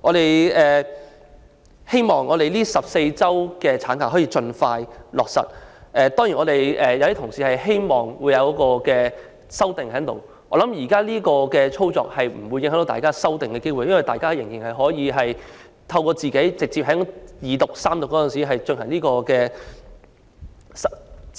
我們希望能夠盡快落實14周法定產假，當然有些同事會希望提出修正案，但我相信現在這項安排不會影響大家提出修正案的機會，因為大家仍然可以在二讀或三讀時提出修正